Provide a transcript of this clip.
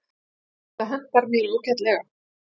Þetta hentar mér ágætlega.